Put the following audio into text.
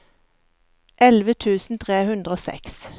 elleve tusen tre hundre og seks